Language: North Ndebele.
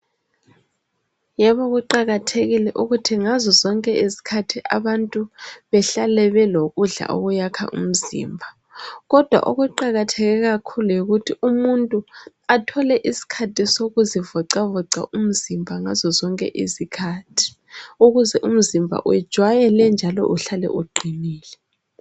Yebo kuqakathekile ukuthi ngazozonke izikhathi abantu behlale belo kudla okuyabe kuyakha umzimba kodwa okuwakatheke kakhulu yikuthi umuntu athole iskhathi sokuzivocavoca ngazo zonke iziskhathi ukuze umzimba ujwayele njalo uhlale uqinile